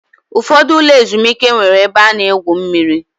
Ụfọdụ ụlọ ezumike nwere ebe a na-egwu mmiri